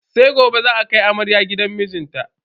Sai gobe za a kai amarya gidan mijinta.